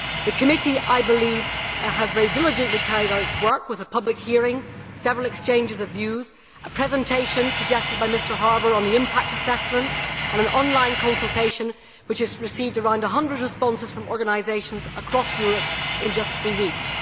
The committee, I believe, has very diligently carried out its work with a public hearing, several exchanges of views, a presentation suggested by Mr Harbour on the impact assessment, and an online consultation with has received around 100 responses from organisations across Europe in just three weeks.